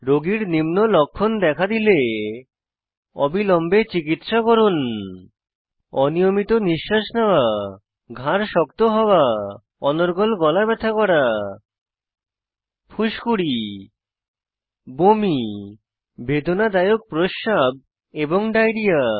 রোগীর নিম্ন লক্ষণ দেখা দিলে অবিলম্বে চিকিত্সা করুন অনিয়মিত নিশ্বাস নেওয়া ঘাড় শক্ত হওয়া অনর্গল গলা ব্যথা করা ফুসকুড়ি বমি বেদনাদায়ক প্রস্রাব এবং ডায়রিয়া